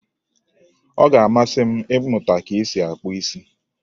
Ọ ga-amasị m ịmụta ka esi akpụ isi